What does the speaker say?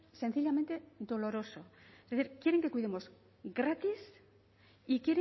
es sencillamente doloroso es decir quieren que cuidemos gratis y